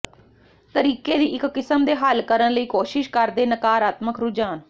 ਤਰੀਕੇ ਦੀ ਇੱਕ ਕਿਸਮ ਦੇ ਹੱਲ ਕਰਨ ਲਈ ਕੋਸ਼ਿਸ਼ ਕਰ ਦੇ ਨਕਾਰਾਤਮਕ ਰੁਝਾਨ